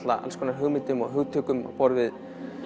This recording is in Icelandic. hugmyndum og hugtökum á borð við